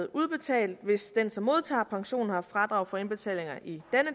udbetales hvis den som modtager pension har haft fradrag for indbetalinger i